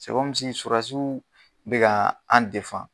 surasiw bɛ ka an